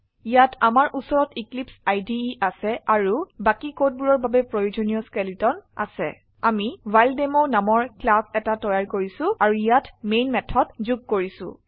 ইয়াত আমাৰ উচৰত এক্লিপছে ইদে আছে আাৰু বাকি কোডবোৰৰ বাবে প্ৰয়োজনিয় স্কেলেটন আছে আমি ৱ্হাইলডেমো নামৰ ক্লাস এটা তৈয়াৰ কৰিছো আৰু ইয়াত মেন মেথড যোগ কৰিছো